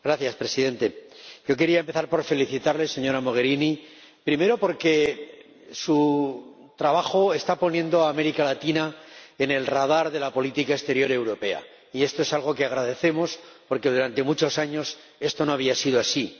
Señor Presidente, yo quería empezar felicitando a la señora Mogherini, primero, porque su trabajo está poniendo a América Latina en el radar de la política exterior europea y esto es algo que agradecemos, porque durante muchos años no había sido así.